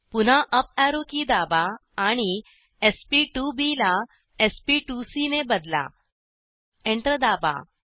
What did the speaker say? पुन्हा up arrow key दाबा आणि sp2बी ला sp2सी ने बदला एंटर दाबा